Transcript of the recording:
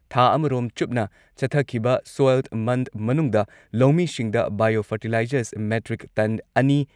ꯊꯥ ꯑꯃꯔꯣꯝ ꯆꯨꯞꯅ ꯆꯠꯊꯈꯤꯕ ꯁꯣꯏꯜ ꯃꯟꯊ ꯃꯅꯨꯡꯗ ꯂꯧꯃꯤꯁꯤꯡꯗ ꯕꯥꯏꯑꯣ ꯐꯔꯇꯤꯂꯥꯏꯖꯔ ꯃꯦꯇ꯭ꯔꯤꯛ ꯇꯟ ꯑꯅꯤ